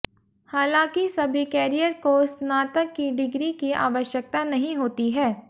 हालांकि सभी कैरियर को स्नातक की डिग्री की आवश्यकता नहीं होती है